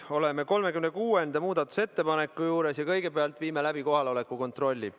Oleme 36. muudatusettepaneku juures ja kõigepealt viime läbi kohaloleku kontrolli.